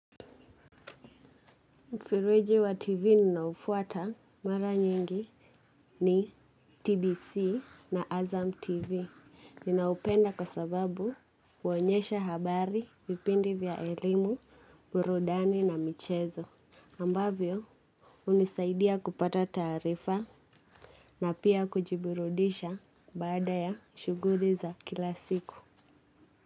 Mfereji wa TV ninaoufuata mara nyingi ni TBC na Azam TV. Ninaupenda kwa sababu huonyesha habari, vipindi vya elimu, burudani na michezo. Ambavyo, hunisaidia kupata tarifa na pia kujiburudisha baada ya shughuli za kila siku.